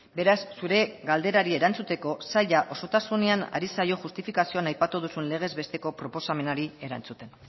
beraz zure galderari erantzuteko saila osotasunean ari zaio justifikazioan aipatu duzun legez besteko proposamenari erantzuten